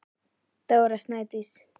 Dóra Snædís.